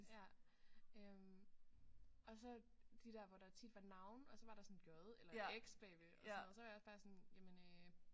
Ja øh og så de der hvor der tit var navne og så var der sådan et J eller et X bagved og sådan noget så var jeg også sådan jamen øh